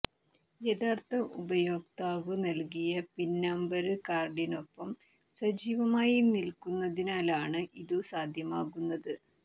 യഥാര്ഥ ഉപയോക്താവ് നല്കിയ പിന്നമ്പര് കാര്ഡിനൊപ്പം സജീവമായി നില്ക്കുന്നതിനാലാണ് ഇതു സാധ്യമാകുന്നത്